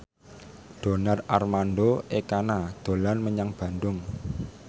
Donar Armando Ekana dolan menyang Bandung